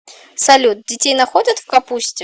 салют детей находят в капусте